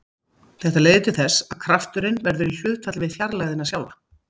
Þetta leiðir til þess að krafturinn verður í hlutfalli við fjarlægðina sjálfa.